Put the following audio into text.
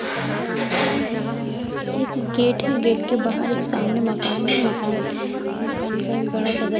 एक गेट है गेट के बाहर एक सामने मकान है मकान मकान का बड़ा--